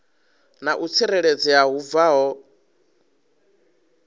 na u tsireledzea hu bvaho